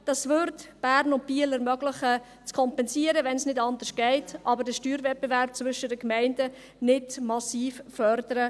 Dies würde Bern und Biel ermöglichen, zu kompensieren, wenn es nicht anders geht, aber den Steuerwettbewerb zwischen den Gemeinden nicht massiv fördern.